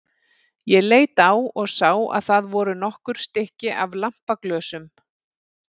Ég leit á og sá að það voru nokkur stykki af lampaglösum.